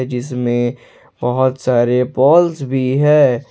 जिसमें बहुत सारे बॉल्स भी है।